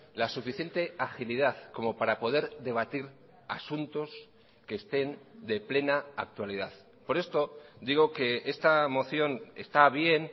la suficiente agilidad como para poder debatir asuntos que estén de plena actualidad por esto digo que esta moción está bien